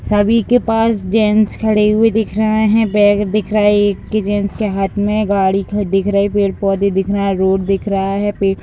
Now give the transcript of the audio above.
सभी के पास जेंट्स खड़े हुए दिख रहे हैं बैग दिख रहा है एक के जेंट्स के हाथ में गाड़ी दिख रहे हैं पेड़-पौधे दिख रहे हैं रोड दिख रहा है पेड़ --